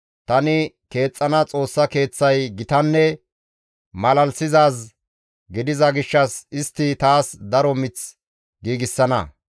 Tani keexxana Xoossa Keeththay gitanne malalisizaaz gidiza gishshas istti taas daro mith giigsana.